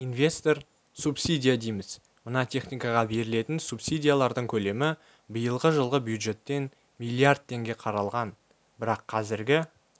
инвест субсидия дейміз мына техникаға берілетін субсидиялардың көлемі биылғы жылы бюджеттен миллиард теңге қаралған бірақ қазіргі